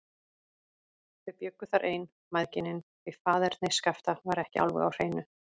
Þau bjuggu þar ein, mæðginin, því faðerni Skapta var ekki alveg á hreinu.